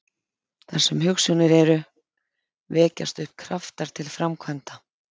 Þar sem hugsjónir eru, vekjast upp kraftar til framkvæmda.